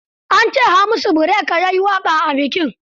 An ce Hamisu Breaker ya yi waƙa a bikin?